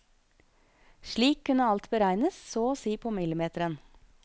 Slik kunne alt beregnes så å si på millimeteren.